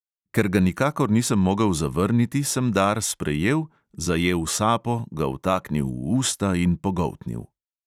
Ker ga nikakor nisem mogel zavrniti, sem dar sprejel, zajel sapo, ga vtaknil v usta in pogoltnil.